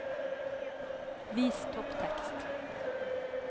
Vis topptekst